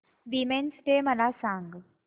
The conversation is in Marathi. वीमेंस डे मला सांग